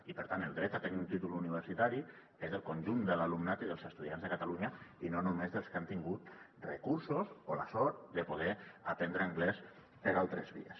i per tant el dret a tenir un títol universitari és del conjunt de l’alumnat i dels estudiants de catalunya i no només dels que han tingut recursos o la sort de poder aprendre anglès per altres vies